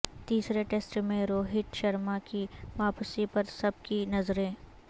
تیسرے ٹسٹ میں روہت شرما کی واپسی پر سب کی نظریں